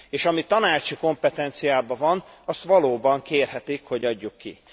És ami tanácsi kompetenciában van, azt valóban kérhetik, hogy adjuk ki.